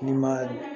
N'i ma